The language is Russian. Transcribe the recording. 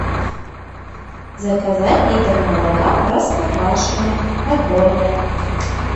заказать литр молока простоквашино отборное